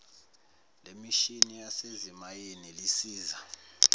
lemishini yasezimayini lisiza